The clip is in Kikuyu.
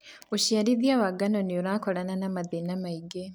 ũciarithia wa ngano nĩũrakorana na mathĩna maingĩ.